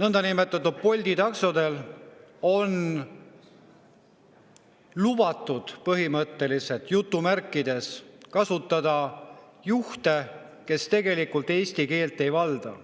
niinimetatud Bolti taksodel on põhimõtteliselt lubatud kasutada juhte, kes eesti keelt ei valda.